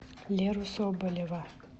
леру соболева